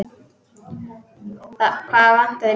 Hvað vantar þig mikið?